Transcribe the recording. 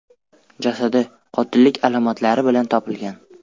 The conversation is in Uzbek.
jasadi qotillik alomatlari bilan topilgan.